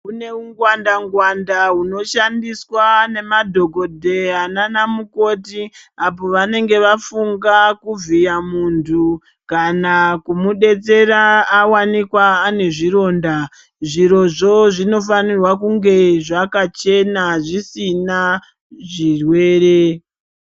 Kune ungwanda ngwanda hunoshandiswa nemadhogodheya nanamukoti apo vanenge vafunga kuvhiya muntu kana kumudetsera awanikwa ane zvironda. Zvirozvo zvinofanirwa kunge zvakachena zvisina zvirwere.